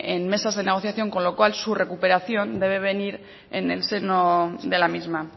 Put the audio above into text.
en mesas de negociación con lo cual su recuperación debe de venir en el seno de la misma